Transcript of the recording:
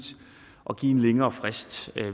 at give en længere frist